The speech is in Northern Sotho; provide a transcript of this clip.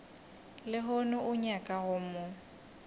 lehono o nyaka go mo